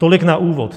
Tolik na úvod.